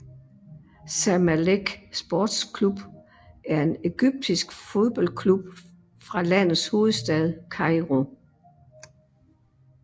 Zamalek Sports Club er en egyptisk fodboldklub fra landets hovedstad Kairo